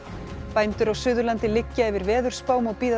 bændur á Suðurlandi liggja yfir veðurspám og bíða